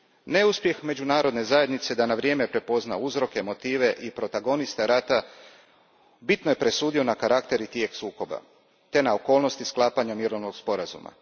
Neuspjeh međunarodne zajednice da na vrijeme prepozna uzroke, motive i protagoniste rata bitno je presudio na karakter i tijek sukoba te na okolnosti sklapanja mirovnog sporazuma.